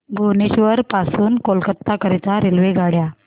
भुवनेश्वर पासून कोलकाता करीता रेल्वेगाड्या